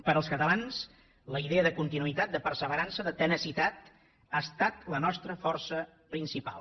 per als catalans la idea de continuïtat de perseverança de tenacitat ha estat la nostra força principal